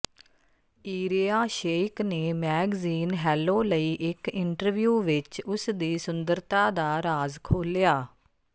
Irina Shayk ਨੇ magazine Hello ਲਈ ਇੱਕ ਇੰਟਰਵਿਊ ਵਿੱਚ ਉਸ ਦੀ ਸੁੰਦਰਤਾ ਦਾ ਰਾਜ਼ ਖੋਲ੍ਹਿਆ